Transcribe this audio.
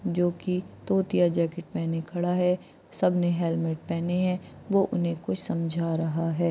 जो की तोतिया जाकेट पहने खड़ा है सबने हेल्मेट पहने हैं वो उन्हें कुछ समझा रहा है।